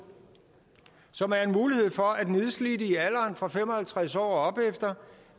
som er en mulighed for at nedslidte i alderen fra fem og halvtreds år og opefter